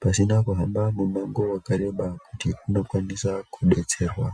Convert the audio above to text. pasina kuhamba mumango wakareba kuti tindokwanisa kudetserwa.